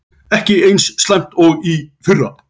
Ekki eins slæmt og í fyrra